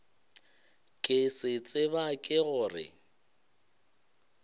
ke se tseba ke gore